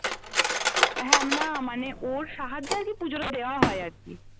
হ্যা উম না মানে ওর সাহায্যে আর কি পুজোটা দেওয়া হয় আর কি